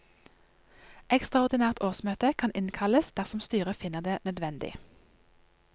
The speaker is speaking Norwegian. Ekstraordinært årsmøte kan innkalles dersom styret finner det nødvendig.